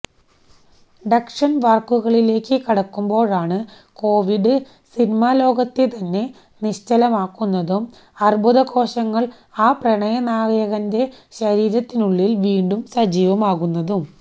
ഡക്ഷന് വര്ക്കുകളിലേക്കു കടക്കുമ്പോഴാണ് കോവിഡ് സിനിമാലോകത്തെതന്നെ നിശ്ചലമാക്കുന്നതും അര്ബുദകോശങ്ങള് ആ പ്രണയനായകന്റെ ശരീരത്തിനുള്ളില് വീണ്ടും സജീവമാകുന്നതും